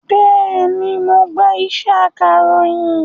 Bẹ́ẹ̀ni, mo gba iṣẹ́ akàròyìn